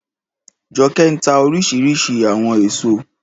Jọkẹ́ ń tà oríṣiríṣi àwọn èèso